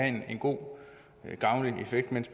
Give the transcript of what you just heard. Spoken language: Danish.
en god og gavnlig effekt men